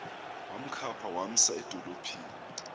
wamkhapha wamsa edolophini